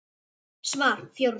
Svar: Fjórum sinnum